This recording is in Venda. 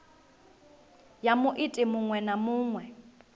ya muiti muṅwe na muṅwe